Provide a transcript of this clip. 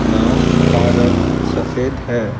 नाव का रंग सफेद है।